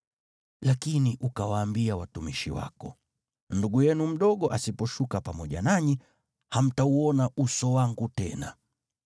Lakini ukawaambia watumishi wako, ‘Ndugu yenu mdogo asiposhuka pamoja nanyi, hamtauona uso wangu tena.’